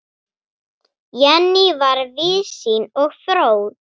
Jenný var víðsýn og fróð.